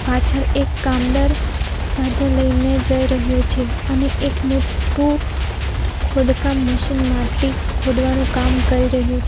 પાછળ એક કામદાર સાધન લઈને જઈ રહ્યો છે અને એક મોટુ ખોડકામ મશીન માટી ખોડવાનું કામ કરી રહ્યું છે.